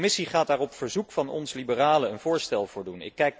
De Commissie gaat daar op verzoek van ons, liberalen, een voorstel voor doen.